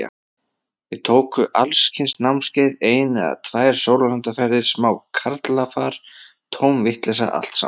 Við tóku alls kyns námskeið, ein eða tvær sólarlandaferðir, smá karlafar, tóm vitleysa allt saman.